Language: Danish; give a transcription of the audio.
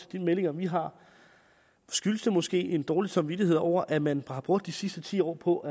de meldinger vi har skyldes det måske en dårlig samvittighed over at man har brugt de sidste ti år på